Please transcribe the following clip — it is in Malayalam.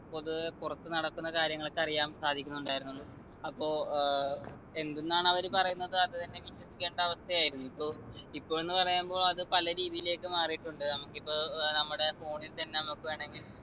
പൊതുവെ പുറത്തു നടക്കുന്ന കാര്യങ്ങള് ഒക്കെ അറിയാൻ സാധിക്കുന്നുണ്ടായിരുന്നുള്ളു അപ്പൊ ഏർ എന്ത്ന്നാണ് അവര് പറയുന്നത് അത് തന്നെ വിശ്വസിക്കേണ്ട അവസ്ഥയായിരുന്നു ഇപ്പൊ ഇപ്പൊ എന്ന് പറയുമ്പോ അത് പല രീതീലേക്ക് മാറീട്ടുണ്ട് നമ്മക്കിപ്പോ ഏർ നമ്മുടെ phone ൽ തന്നെ നമുക്ക് വേണെങ്കി